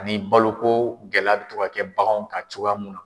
Ani baloko gɛlɛ bɛ kɛ baganw kan cogoya mun na.